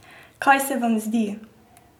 Kaj se vam zdi?